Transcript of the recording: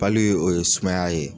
o ye sumaya ye.